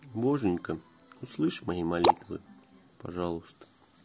боженька услышал мои молитвы пожалуйста